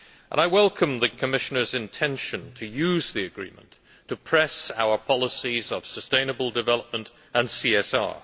I welcome the Commissioner's intention to use the agreement to press our policies of sustainable development and CSR.